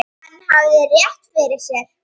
Hann hafði rétt fyrir sér.